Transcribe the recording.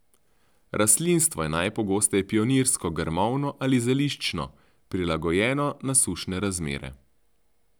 Rastlinstvo je najpogosteje pionirsko, grmovno ali zeliščno, prilagojeno na sušne razmere.